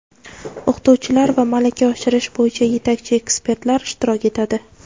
o‘qituvchilar va malaka oshirish bo‘yicha yetakchi ekspertlar ishtirok etadi.